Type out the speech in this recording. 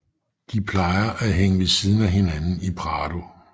De plejer at hænge ved siden af hinanden i Prado